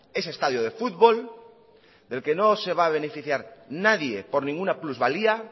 ese estadio de fútbol del que no se va a beneficiar nadie por ninguna plusvalía